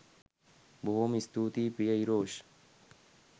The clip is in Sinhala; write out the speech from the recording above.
බොහෝම ස්තුතියි ප්‍රිය ඉරෝෂ්